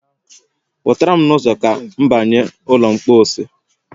Pụtara m n'ụzo ka m banye ụlọ mpọsị